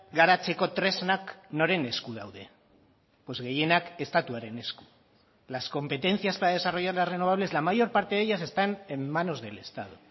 garatzeko tresnak noren esku daude gehienak estatuaren esku las competencias para desarrollar las renovables la mayor parte de ellas están en manos del estado